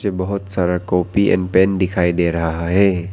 बहुत सारा copy and pen दिखाई दे रहा है।